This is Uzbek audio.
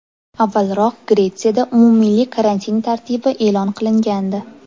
Avvalroq Gretsiyada umummilliy karantin tartibi e’lon qilingandi .